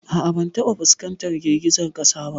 A'a ban taba fuskantar girgizar kasa ba.